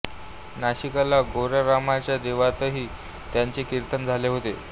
नाशिकला गोऱ्या रामाच्या देवळातही त्यांचे कीर्तन झाले होते